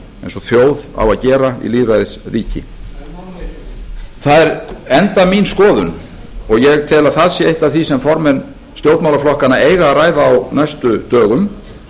eins og þjóð á að gera í lýðræðisríki það er enda mín skoðun og ég tel að það sé eitt af því sem formenn stjórnmálaflokkanna eiga að ræða á næstu dögum